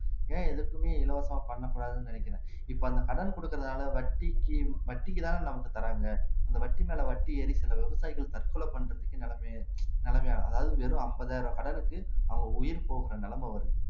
ஏன் எதுக்குமே இலவசமா பண்ணக்கூடாதுன்னு நினைக்கிறேன் இப்ப அந்த கடன் கொடுக்கிறதுனால வட்டிக்கு வட்டிக்குதானே நமக்கு தர்றாங்க அந்த வட்டி மேல வட்டி ஏறி சில விவசாயிகள் தற்கொலை பண்றதுக்கு நிலைமையே நிலைமையாகும் அதாவது வெறும் ஐம்பதாயிரம் கடனுக்கு அவங்க உயிர் போகிற நிலைமை வருது